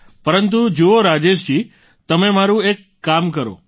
પરંતુ જુઓ રાજેશજી તમે મારું એક કામ કરો કરશો